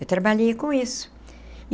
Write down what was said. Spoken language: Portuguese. Eu trabalhei com isso.